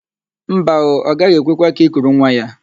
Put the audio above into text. Mba ooo, ọ gaghị ekwekwa ka i kuru nwa ya.